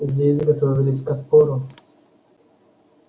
здесь готовились к отпору